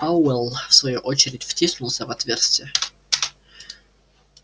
пауэлл в свою очередь втиснулся в отверстие